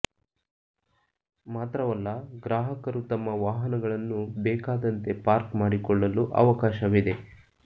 ಮಾತ್ರವಲ್ಲ ಗ್ರಾಹಕರು ತಮ್ಮ ವಾಹನಗಳನ್ನು ಬೇಕಾದಂತೆ ಪಾರ್ಕ್ ಮಾಡಿಕೊಳ್ಳಲು ಅವಕಾಶವಿದೆ